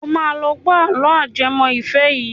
Ó máa lọ gbọ́ àlọ́ ajẹmọ́ ìfẹ́ yìí.